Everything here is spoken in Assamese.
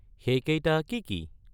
সেইকেইটা কি কি?